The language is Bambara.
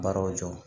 Baaraw jɔ